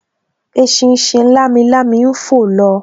Eṣinṣin lamilami ń fò lọ